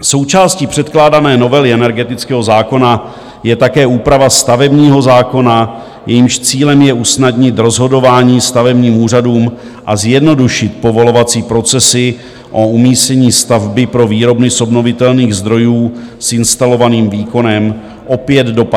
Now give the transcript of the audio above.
Součástí předkládané novely energetického zákona je také úprava stavebního zákona, jejímž cílem je usnadnit rozhodování stavebním úřadům a zjednodušit povolovací procesy o umístění stavby pro výrobny z obnovitelných zdrojů s instalovaným výkonem, opět do 50 kW.